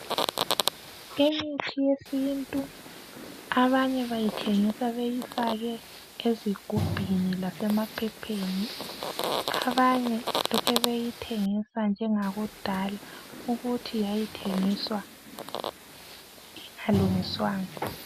Imithi yesintu abanye bayithengisa beyifake ezigubhini lasemaphepheni. Abanye lokhu beyithengisa njengakudala ukuthi yayithengiswa ingalungiswanga.